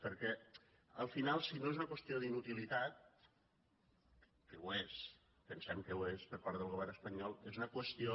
perquè al final si no és una qüestió d’inutilitat que ho és pensem que ho és per part del govern espanyol és una qüestió